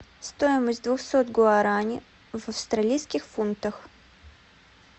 стоимость двухсот гуарани в австралийских фунтах